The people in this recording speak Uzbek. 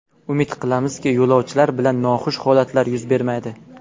Umid qilamizki, yo‘lovchilar bilan noxush holatlar yuz bermaydi.